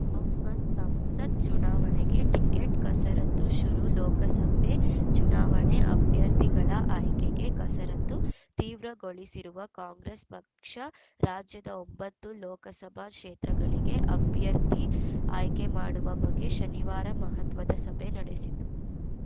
ಬಾಕ್ಸ್‌ಒನ್ ಸಂಸತ್‌ ಚುನಾವಣೆಗೆ ಟಿಕೆಟ್‌ ಕಸರತ್ತು ಶುರು ಲೋಕಸಭೆ ಚುನಾವಣೆ ಅಭ್ಯರ್ಥಿಗಳ ಆಯ್ಕೆಗೆ ಕಸರತ್ತು ತೀವ್ರಗೊಳಿಸಿರುವ ಕಾಂಗ್ರೆಸ್‌ ಪಕ್ಷ ರಾಜ್ಯದ ಒಂಬತ್ತು ಲೋಕಸಭಾ ಕ್ಷೇತ್ರಗಳಿಗೆ ಅಭ್ಯರ್ಥಿ ಆಯ್ಕೆ ಮಾಡುವ ಬಗ್ಗೆ ಶನಿವಾರ ಮಹತ್ವದ ಸಭೆ ನಡೆಸಿತು